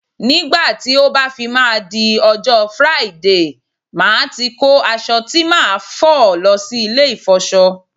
Nígbà tó bá fi máa di ọjọ́ Friday, màá ti kó aṣọ tí màá fi lọ sí ilé ìfọṣọ